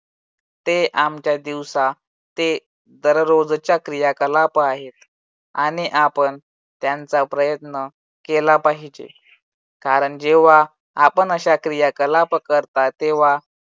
ते आमच्या दिवसा ते दररोजच्या क्रियाकलाप आहेत आणि आपण त्यांचा प्रयत्न केला पाहिजे. कारण जेव्हा आपण अशा क्रियाकलाप करता, तेव्हा